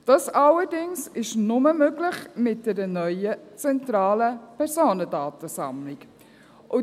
Dies allerdings ist nur mit einer neuen, zentralen Personendatensammlung möglich.